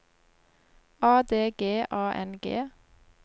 A D G A N G